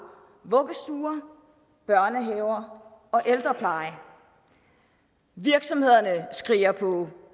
vuggestuer børnehaver og ældrepleje virksomhederne skriger på